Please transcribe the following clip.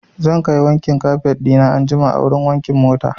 Zan kai wankin kafet ɗina anjima a wurin wankin mota.